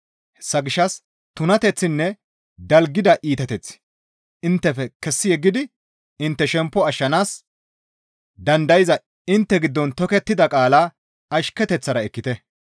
Hessa gishshas tunateththinne dalgida iitateththi inttefe kessi yeggidi intte shemppo ashshanaas dandayza intte giddon tokettida qaalaa ashketeththara ekkite.